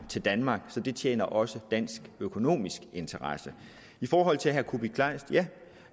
til danmark så det tjener også dansk økonomisk interesse i forhold til herre kuupik kleist vil